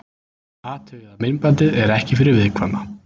Athugið að myndbandið er ekki fyrir viðkvæma.